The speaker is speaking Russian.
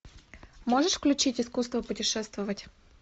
можешь включить искусство путешествовать